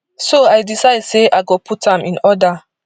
so i decide say i go put am in order